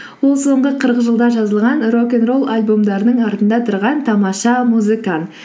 ол соңғы қырық жылда жазылған рок н ролл альбомдарының артында тұрған тамаша музыкант